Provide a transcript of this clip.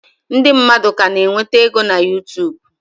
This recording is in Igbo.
Ndị mmadụ ka na-enweta ego na Yutubu?